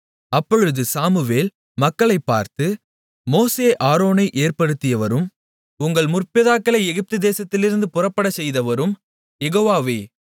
அப்பொழுது சாமுவேல் மக்களைப் பார்த்து மோசே ஆரோனை ஏற்படுத்தியவரும் உங்கள் முற்பிதாக்களை எகிப்துதேசத்திலிருந்து புறப்படச்செய்தவரும் யெகோவாவே